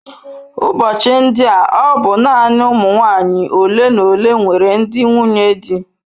Ụbọchị ndi a ọ bụ naanị ụmụ nwanyị ole na ole nwere ndị nwunye di.